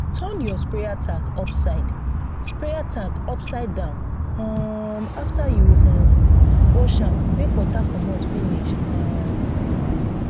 turn your sprayer tank upside sprayer tank upside down um after you um wash am make water commot finish um